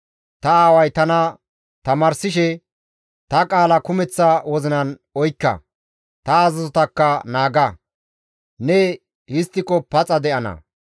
Ta aaway tana tamaarsishe, «Ta qaala kumeththa wozinan oykka; ta azazotakka naaga; ne histtiko paxa de7ana.